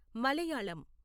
Malayalam